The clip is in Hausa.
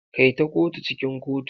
Kai ta kotu cikin kotu.